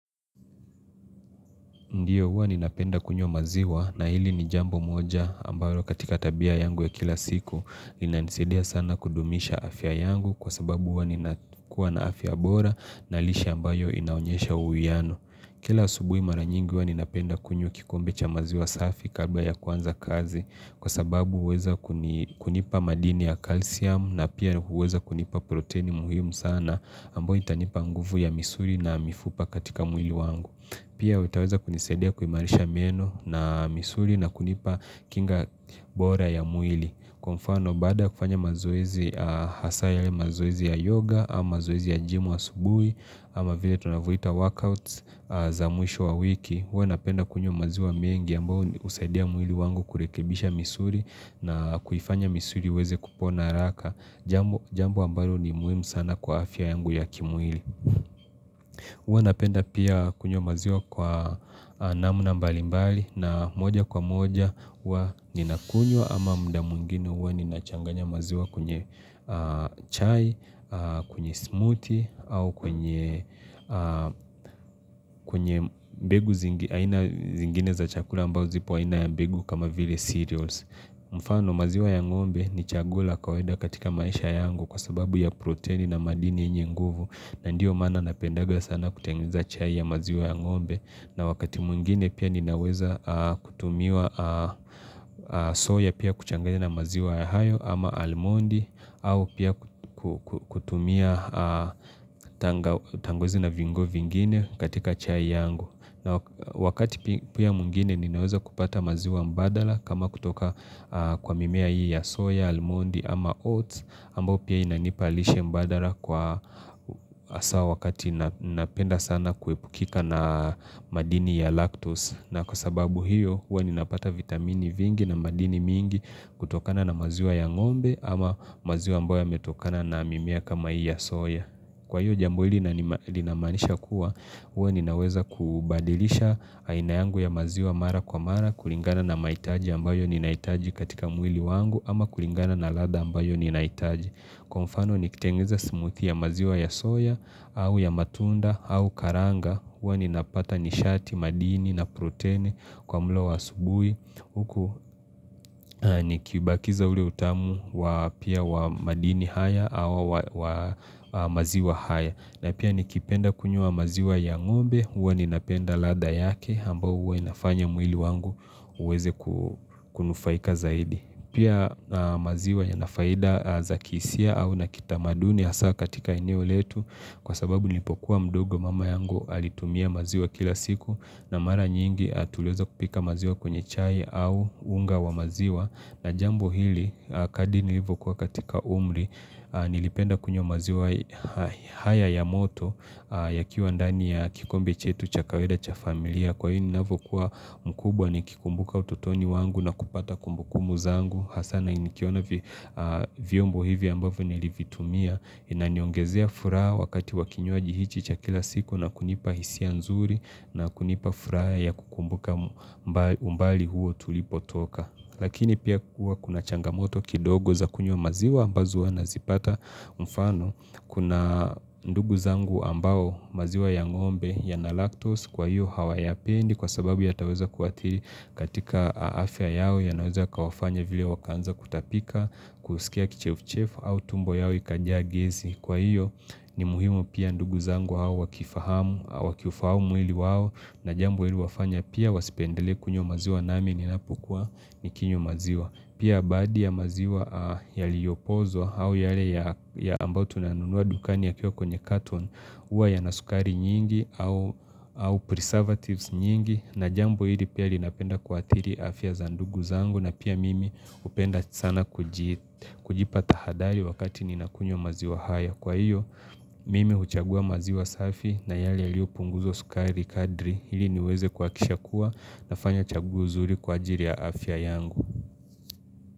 Ndiyo huwa ninapenda kunywa maziwa na hili ni jambo moja ambaro katika tabia yangu ya kila siku ninanisidia sana kudumisha afya yangu kwa sababu huwa ninakua na afya bora na lisha ambayo inaonyesha uwiano. Kila asubui mara nyingi huwa ninapenda kunyo kikombe cha maziwa safi karba ya kwanza kazi kwa sababu huweza kunipa madini ya kalsiam na pia huweza kunipa proteini muhium sana ambayo itanipa nguvu ya misuri na mifupa katika mwili wangu. Pia witaweza kunisadea kuimarisha mieno na misuri na kunipa kinga bora ya mwili Kufano bada kufanya mazoezi hasaya ya mazoezi ya yoga ama mazoezi ya jimu wa asubui ama vile tunavuita workouts za mwisho wa wiki huwa napenda kunyo maziwa mengi ambao usadea mwili wangu kurekebisha misuri na kufanya misuri iweze kupona raka Jambo ambalo ni muimu sana kwa afya yangu ya kimwili Uwa napenda pia kunyo maziwa kwa namna mbali mbali na moja kwa moja uwa ninakunyo ama muda mwingini uwa ninachanganya maziwa kunye chai, kunye smoothie au kunye mbegu zingine za chakula mbao zipo wainaya mbegu kama vile cereals. Mfano maziwa ya ngombe ni chagula kaweda katika maisha yangu kwa sababu ya protein na madini inye nguvu na ndiyo mana napendaga sana kutanguza chai ya maziwa ya ngombe na wakati mungine pia ninaweza kutumiwa soya pia kuchanguza na maziwa ya hayo ama almondi au pia kutumia tangozi na vingo vingine katika chai yangu na wakati pia mwingine ninaweza kupata maziwa mbadala kama kutoka kwa mimea hii ya soya, almondi ama oats ambo pia inanipalisha mbadala kwa asawa wakati napenda sana kuipukika na madini ya lactose na kwa sababu hiyo huwa ninapata vitamini vingi na madini mingi kutokana na maziwa ya ng'ombe ama maziwa mboa metokana na mimea kama hii ya soya Kwa hiyo jambo hili linamanisha kuwa, huwa ninaweza kubadilisha aina yangu ya maziwa mara kwa mara, kulingana na maitaji ambayo ninaitaji katika mwili wangu, ama kulingana na ladha ambayo ninaitaji. Kwa mfano nikitengiza smoothie ya maziwa ya soya au ya matunda au karanga huwa ninapata nishati madini na protein kwa mlo wa asubui Huku nikibakiza ule utamu wa pia wa madini haya au wa maziwa haya na pia nikipenda kunyua maziwa ya ng'ombe huwa ninapenda lada yake ambao huwa inafanya mwili wangu uweze kunufaika zaidi Pia maziwa ya nafaida za kisia au nakita maduni ya saa katika inio letu Kwa sababu nipokuwa mdogo mama yangu alitumia maziwa kila siku na mara nyingi tulioza kupika maziwa kwenye chai au unga wa maziwa na jambo hili kadini hivu kwa katika umri nilipenda kunywa maziwa haya ya moto yakiwa ndani ya kikombe chetu cha kaweda cha familia Kwa hini navo kuwa mkubwa ni kikumbuka ututoni wangu na kupata kumbukumu zangu hasana ni kiona viombo hivi ambavu nilivitumia na niongezea furaa wakati wakinyoaji hichi cha kila siku na kunipa hisia nzuri na kunipa furaa ya kukumbuka umbali huo tulipo toka Lakini pia kuwa kuna changamoto kidogo za kunyo maziwa ambazuwa na zipata mfano Kuna ndugu zangu ambao maziwa ya ngombe ya na lactose kwa hiyo hawa ya pendi kwa sababu ya taweza kuatiri katika aafya yao ya naweza kawafanya vile wakanza kutapika kusikia kichefu chefu au tumbo yao ikajia gezi Kwa hiyo ni muhimu pia ndugu zangu hawa wakifahamu wakifahamu mwili wao na jambu ili wafanya pia wasipendele kunywa maziwa namininapu kwa nikinyo maziwa Pia abadi ya maziwa yaliopozo au yale ya ambao tunanunua dukani ya kio kwenye katon Uwa ya na sukari nyingi au preservatives nyingi na jambo hili pia linapenda kuatiri afya zandugu zangu na pia mimi upenda sana kujipata taathari wakati ninakunyo maziwa haya Kwa hiyo mimi huchagua maziwa safi na yale yaliopunguzo sukari kadri Hili niweze kwa kisha kuwa nafanya chaguuzuri kwa ajiri ya afya yangu.